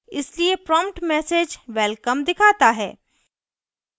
इसलिए prompt message welcome दिखाता है